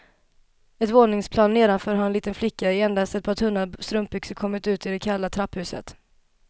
Ett våningsplan nedanför har en liten flicka i endast ett par tunna strumpbyxor kommit ut i det kalla trapphuset.